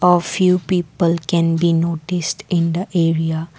A few people can be noticed in the area.